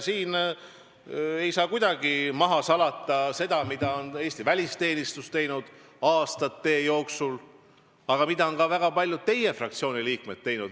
Ei saa kuidagi maha salata seda, mida on Eesti välisteenistus aastate jooksul teinud ja mida on ka väga paljud teie fraktsiooni liikmed teinud.